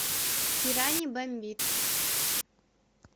пираний бомбит